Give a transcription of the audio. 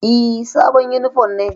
E, sabon yunifom ne.